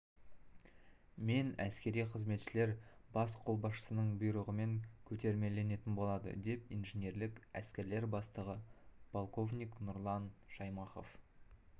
мен әскери қызметшілер бас қолбасшысының бұйрығымен көтермеленетін болады деп инженерлік әскерлер бастығы полковник нұрлан шаймахов